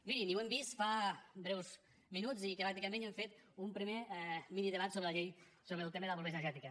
mirin i ho hem vist fa breus minuts i pràcticament hem fet un primer minidebat sobre la llei sobre el tema de la pobresa energètica